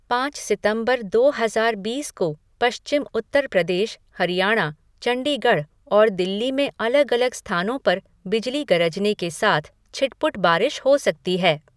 पाँच सितंबर, दो हजार बीस को पश्चिम उत्तर प्रदेश, हरियाणा, चंडीगढ़ और दिल्ली में अलग अलग स्थानों पर बिजली गरजने के साथ छिटपुट बारिश हो सकती है।